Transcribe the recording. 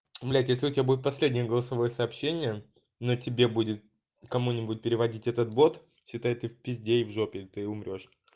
блять если у тебя будет последнее голосовое сообщение но тебе будет кому-нибудь переводить этот бот считай ты в пизде и в жопе ты умрёшь